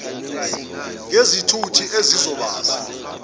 babahlinzeke ngezithuthi ezizobasa